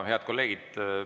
Head kolleegid!